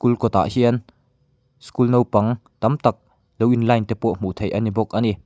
kul kawtah hian school nopang tam tak lo in line te pawh hmuh theih a ni bawk a ni.